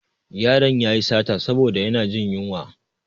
Ƴaron yayi sata saboda yana jin yunwa.